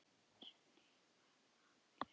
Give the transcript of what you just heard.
Snýst með hann í hringi.